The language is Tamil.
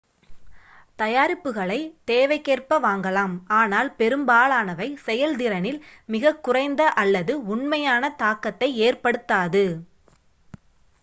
தயாரிப்புகளைத் தேவைக்கேற்ப வாங்கலாம் ஆனால் பெரும்பாலானவை செயல்திறனில் மிகக்குறைந்த அல்லது உண்மையான தாக்கத்தை ஏற்படுத்தாது